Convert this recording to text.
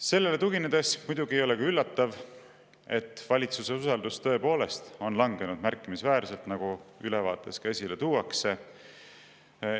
Sellele tuginedes muidugi ei ole ka üllatav, et valitsuse usaldus tõepoolest on langenud märkimisväärselt, nagu ülevaates ka esile tuuakse.